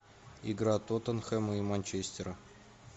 игра тоттенхэма и манчестера